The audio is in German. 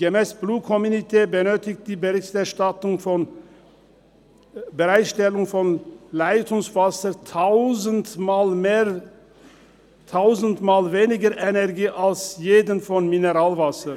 gemäss Blue Community benötigt die Bereitstellung von Leitungswasser tausendmal weniger Energie als diejenige für Mineralwasser.